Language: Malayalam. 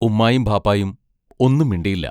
ഉമ്മായും ബാപ്പായും ഒന്നും മിണ്ടിയില്ല.